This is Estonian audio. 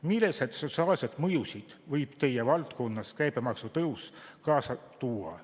Milliseid sotsiaalseid mõjusid võib teie valdkonnas käibemaksu tõus kaasa tuua?